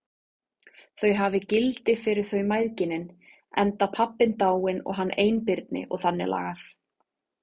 Þau hafi gildi fyrir þau mæðginin, enda pabbinn dáinn og hann einbirni og þannig lagað.